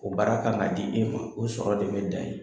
O baara kan ka di e ma o sɔrɔ de bɛ dan yen.